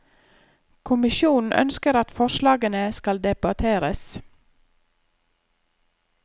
Kommisjonen ønsker at forslagene skal debatteres.